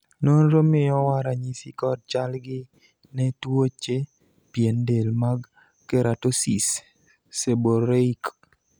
nonro miyowa ranyisi kod chal gi ne tuoche pien del mag Keratosis, seborrheic